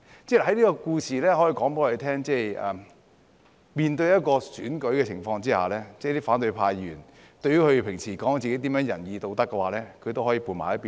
這個故事告訴我們，在面對選舉的情況，即使反對派議員平時說自己多麼仁義道德，他們也可以撥到一旁。